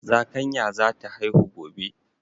Zakanya zata haihu gobe